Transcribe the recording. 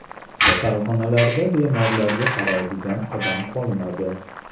Kasalxonalarda bemorlarga qaraydigan odam qolmadi.